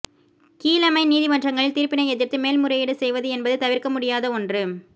கீழமை நீதிமன்றங்களின் தீர்ப்பினை எதிர்த்து மேல்முறையீடு செய்வது என்பது தவிர்க்க முடியாத ஒன்று